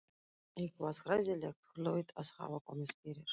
Eitthvað hræðilegt hlaut að hafa komið fyrir.